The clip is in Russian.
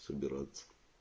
собираться